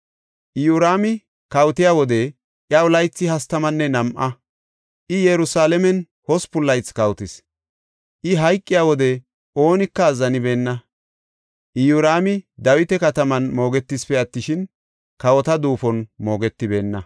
Iyoraami kawotiya wode iyaw laythi hastamanne nam7a; I Yerusalaamen hospun laythi kawotis. I hayqiya wode oonika azzanibeenna. Iyoraami Dawita kataman moogetisipe attishin, kawota duufon moogetibeenna.